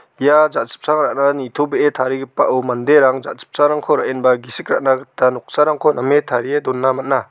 ia jachipchang ra·na nitobee tarigipao manderang jachipchangrangko ra·enba gisik ra·na gita noksarangko name tarie dona man·a.